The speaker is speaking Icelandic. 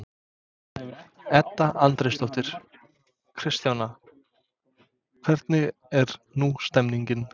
Edda Andrésdóttir: Kristjana, hvernig er nú stemningin?